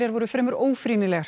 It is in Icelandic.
voru fremur